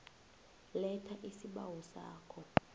letha isibawo sakho